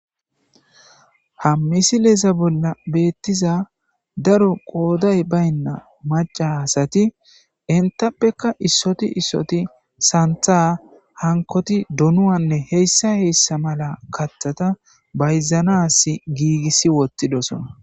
Ha misileza bolla beetiza daro qooday baynna macca asati entapekka issoti issoti santha hankotti donuwanne hessa hessa mala kathata bayzanassi gigisi wothidosonna.